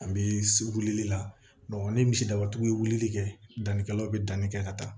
An bɛ wulili la ni misidabatigiw ye wulili kɛ dannikɛlaw be danni kɛ ka taa